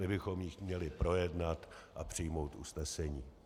My bychom ji měli projednat a přijmout usnesení.